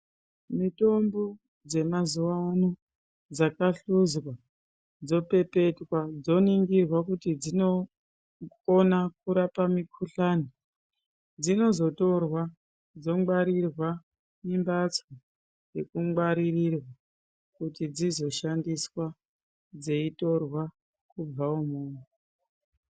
Mitombo dzemazuwa ano dzakahluzwa dzopepetwa dzoningirwa kuti dsinokona kurapa mukhuhlani dzino zotorwa dzongwarirwa mumhatso inongwaririrwa kuti dzizo shandiswa dzeitorwa kubva umwomwo.